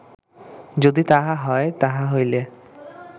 যদি তাহা হয়, তাহা হইলে